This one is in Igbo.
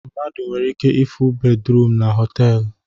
Mmadụ nwere ike ịfụ bed ruum na họtelu